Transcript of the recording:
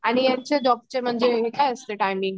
आणि यांचे डॉक चे म्हणजे हे काय असते टायमिंग